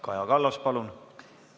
Kaja Kallas, palun!